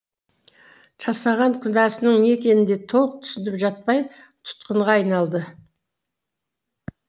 жасаған күнәсінің не екенін де толық түсініп жатпай тұтқынға айналды